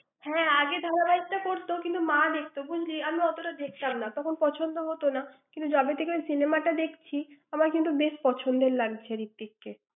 হ্যাঁ, আগে ধারাবাহিক টা করতো কিন্তু, মা দেখতো বুজলি, আমি অত দেখতাম না তখন পছন্দ হত না। কিন্তু যবে থেকে cinema টা দেখছি, আমার কিন্তু বেশ পছন্দের লাগছে ঋত্বিককে।